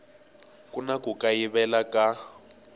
ku na ku kayivela ka